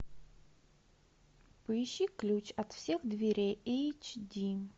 поищи ключ от всех дверей эйч ди